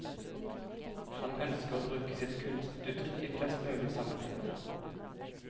Han ønsker å bruke sitt kunstuttrykk i flest mulig sammenhenger.